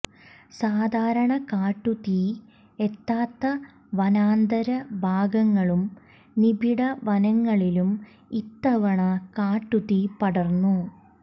സാധാരണ കാട്ടുതീ എത്താത്ത വനാന്തര് ഭാഗങ്ങളും നിബിഡ വനങ്ങളിലും ഇത്തവണ കാട്ടുതീ പടര്ന്നു